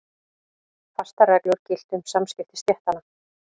Fastar reglur giltu um samskipti stéttanna.